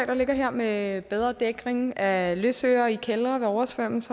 der ligger her med bedre dækning af løsøre i kældre der oversvømmes